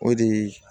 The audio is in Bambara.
O de